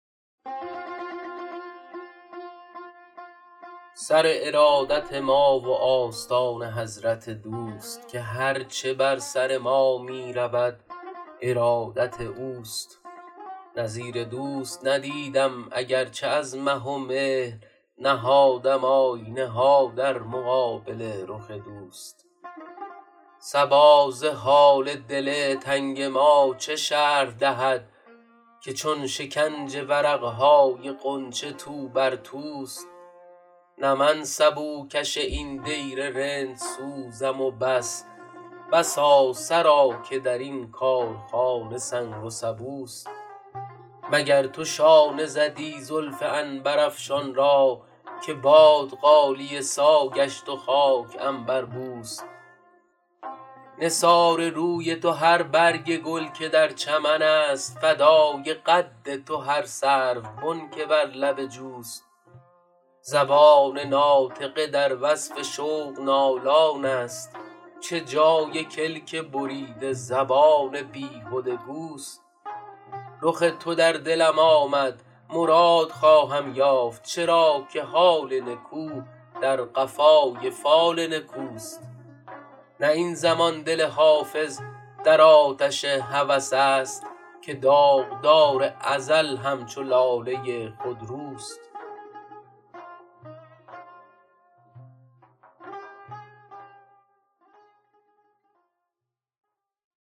سر ارادت ما و آستان حضرت دوست که هر چه بر سر ما می رود ارادت اوست نظیر دوست ندیدم اگر چه از مه و مهر نهادم آینه ها در مقابل رخ دوست صبا ز حال دل تنگ ما چه شرح دهد که چون شکنج ورق های غنچه تو بر توست نه من سبوکش این دیر رندسوزم و بس بسا سرا که در این کارخانه سنگ و سبوست مگر تو شانه زدی زلف عنبرافشان را که باد غالیه سا گشت و خاک عنبربوست نثار روی تو هر برگ گل که در چمن است فدای قد تو هر سروبن که بر لب جوست زبان ناطقه در وصف شوق نالان است چه جای کلک بریده زبان بیهده گوست رخ تو در دلم آمد مراد خواهم یافت چرا که حال نکو در قفای فال نکوست نه این زمان دل حافظ در آتش هوس است که داغدار ازل همچو لاله خودروست